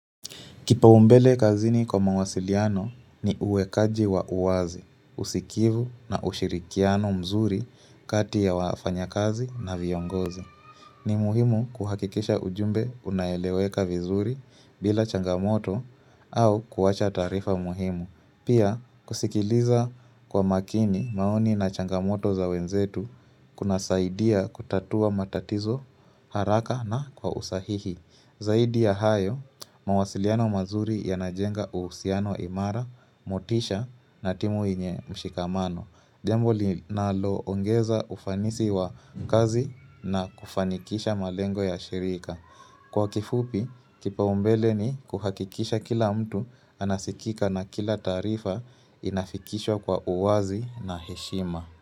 Kipaumbele kazini kwa mawasiliano ni uwekaji wa uwazi, usikivu na ushirikiano mzuri kati ya wafanya kazi na viongozi. Ni muhimu kuhakikisha ujumbe unaeleweka vizuri bila changamoto au kuacha taarifa muhimu. Pia kusikiliza kwa makini maoni na changamoto za wenzetu kuna saidia kutatua matatizo haraka na kwa usahihi. Zaidi ya hayo, mawasiliano mazuri yanajenga uhusiano imara, motisha na timu yenye mshikamano. Jambo linalo ongeza ufanisi wa mkazi na kufanikisha malengo ya shirika. Kwa kifupi, kipaumbele ni kuhakikisha kila mtu anasikika na kila taarifa inafikishwa kwa uwazi na heshima.